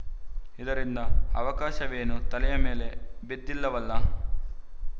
ಇದರಿಂದ ಆಕಾಶವೇನೂ ತಲೆಯ ಮೇಲೆ ಬಿದ್ದಿಲ್ಲವಲ್ಲ